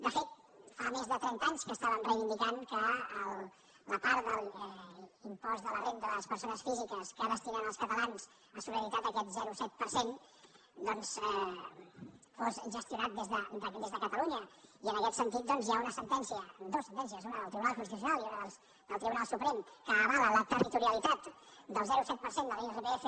de fet fa més de trenta anys que estàvem reivindi·cant que la part de l’impost de la renda de les persones físiques que destinen els catalans a solidaritat aquest zero coma set per cent doncs fos gestionat des de catalunya i en aquest sentit hi ha dues sentències una del tribunal constitucional i una del tribunal suprem que avalen la territorialitat del zero coma set per cent de l’irpf